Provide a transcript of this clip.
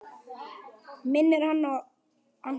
Minnir hana á Anton!